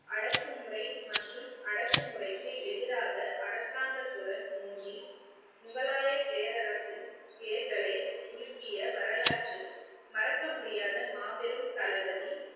அடக்குமுறை மற்றும் அடக்குமுறைக்கு எதிராக அரசாங்கத்துடன் மோதி முகலாய பேரரசின் பெயர்களை உலுக்கிய வரலாற்றில் மறக்க முடியாத மாபெரும் தளபதி